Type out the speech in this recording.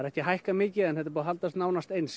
ekki hækkað mikið en haldið sér nánast eins